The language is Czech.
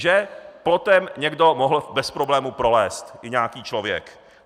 Že plotem někdo mohl bez problémů prolézt, i nějaký člověk.